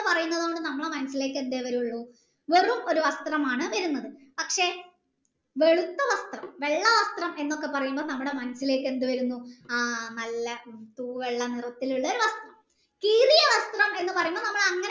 പറയുന്നത് കൊണ്ട് നമ്മളെ മനസിലേക് എന്തെ വരുള്ളൂ വെറും ഒരു വസ്ത്രമാണ് വരുന്നത് പക്ഷെ വെളുത്ത വസ്ത്രം വെള്ള വസ്ത്രം എന്നൊക്കെ പറയുമ്പോ നമ്മളെ മനസ്സിൽ ഇലെക് എന്ത് വരുന്നു ആ നല്ല തൂവെള്ള നിറത്തിലുള്ള ഒരു വസ്ത്രം കീറിയ വസ്ത്രം എന്ന് പറയുമ്പോ